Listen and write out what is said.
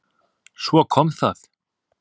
Svo kom það!